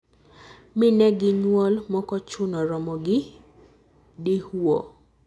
minegi nyuol mokochuno romo gi dihwuo.